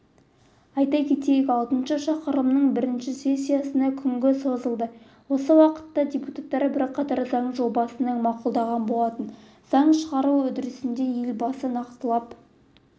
айта кетейк алтыншы шақырылымның бірінші сессиясы күнге созылды осы уақытта депутаттар бірқатар заң жобасын мақұлдаған болатын заң шығару үрдісінде елбасы нақтылап